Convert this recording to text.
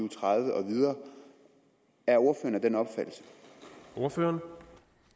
og tredive og videre er ordføreren